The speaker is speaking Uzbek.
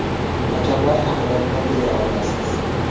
Hakamlar haqida nima deya olasiz?